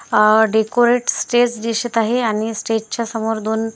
अह decorate stage दिसत आहे आणि स्टेजच्या समोर दोन --